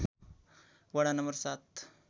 वडा नम्बर ७